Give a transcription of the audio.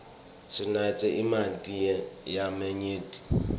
sinatse emanti lamanyenti